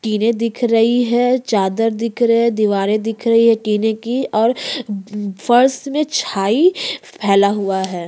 टीने दिख रही है चादर दिख रही है दीवारे दिख रही है टीन की और और फर्श में फैला हुआ है।